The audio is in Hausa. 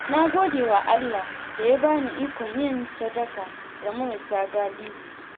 Na gode wa Allah da ya bani ikon yin sadaka ga marasa galihu.